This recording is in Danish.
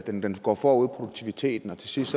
den går foran produktiviteten og til sidst